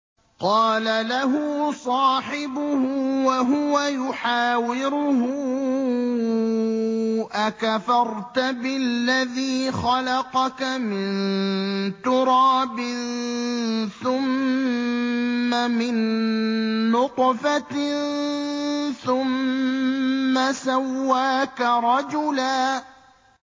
قَالَ لَهُ صَاحِبُهُ وَهُوَ يُحَاوِرُهُ أَكَفَرْتَ بِالَّذِي خَلَقَكَ مِن تُرَابٍ ثُمَّ مِن نُّطْفَةٍ ثُمَّ سَوَّاكَ رَجُلًا